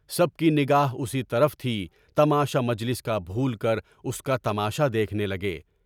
سب کی نگاہ اسی طرف تھی، تماشا مجلس کا بھول کر اس کا تماشا دیکھنے لگے۔